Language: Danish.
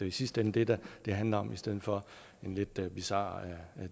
i sidste ende det det det handler om i stedet for en lidt bizar